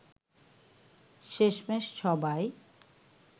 শেষমেষ সবাই